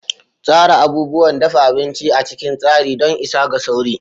Tsara abubuwan dafa abinci a cikin tsari don isa ga sauri.